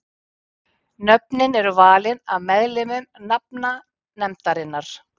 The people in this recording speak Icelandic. Nöfnin eru valin af meðlimum nafnanefndarinnar.